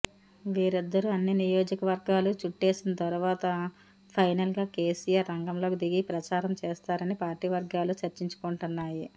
వీరిద్దరూ అన్ని నియోజకవర్గాలు చుట్టేసిన తరువాత ఫైనల్గా కేసీఆర్ రంగంలోకి దిగి ప్రచారం చేస్తారని పార్టీ వర్గాలు చర్చించుకుంటున్నాయి